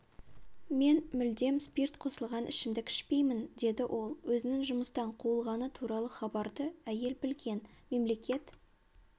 мен мүлдем спирт қосылған ішімдік ішпеймін деді ол өзінің жұмыстан қуылғаны туралы хабарды әйел білген мемлекет